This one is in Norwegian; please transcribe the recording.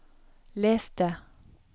les det